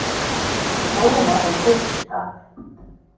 Við hlógum að þeim fyrst í stað.